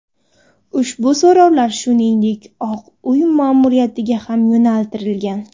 Ushbu so‘rovlar shuningdek Oq Uy ma’muriyatiga ham yo‘naltirilgan.